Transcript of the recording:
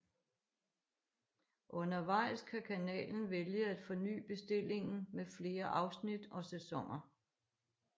Undervejs kan kanalen vælge at forny bestillingen med flere afsnit og sæsoner